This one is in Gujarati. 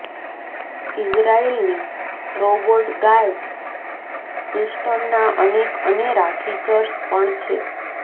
ઈઝરાયેલની રોબોટ ગાર્ડસ સિસ્ટમના અનેક અનેરા ફિચર્સ પણ છે